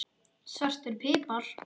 Svartur pipar